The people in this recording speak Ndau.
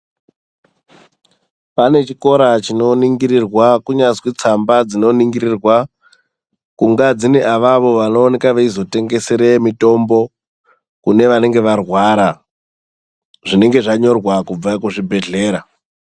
Pane chikora chinoningirirwa kunyazwi tsamba dzinoningirirwa kunga dzine avavo vanowanikwa veizotengesere mitombo kune vanenge varwara zvinenge zvanyorwa kubve kuzvibhedhlera.